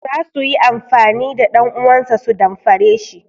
Za su yi amfani da ɗanuwansa su damfare shi.